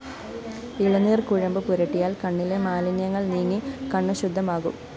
ഇളനീര്‍ കുഴമ്പ് പുരട്ടിയാല്‍ കണ്ണിലെ മാലിന്യങ്ങള്‍ നീങ്ങി കണ്ണ് ശുദ്ധമാകും